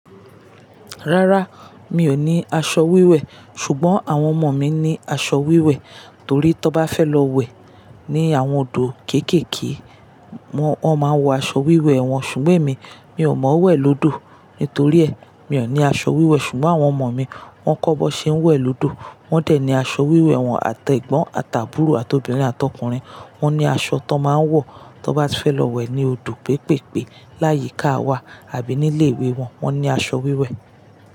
Rárá, mi ò ní aṣọ wíwẹ̀ ṣùgbọ́n àwọn ọmọ mi ní aṣọ wíwẹ̀ torí tí wọ́n bá fẹ́ lọ wẹ̀ ní àwọn odò kéékèèké, wọ́n máa ń wọ aṣọ wíwẹ̀ wọn. Ṣùgbọ́n èmi, mi ò mọ wẹ̀ lódò nítorí è, mi ò ní aṣọ wíwẹ̀ ṣùgbọ́n àwọn ọmọ mi wọ́n kọ́bọ̀ ṣe ń wẹ̀ lódò. Wọ́n dẹ̀ ní aṣọ wíwẹ̀ wọn àti egbọ́n, àtàbúrò àti obìnrin àtọkùnrin. Wọ́n ní aṣọ tó máa ń wọ tí wọ́n bá fẹ́ lọ wẹ̀ ní odò pépèpè láyíká wa àbí nílé ìwé wọn. Wọ́n ní aṣọ wíwẹ̀.